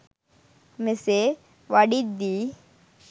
මෙසේ වඩිද්දි